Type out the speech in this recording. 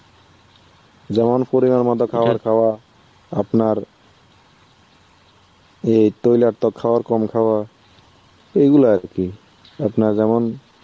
যেমন পরিমান মতো খাবার খাওয়া আপনার এই তৈলাক্ত তো খাওয়ার কম খাওয়া এইগুলা আর কি. আপনারা যেমন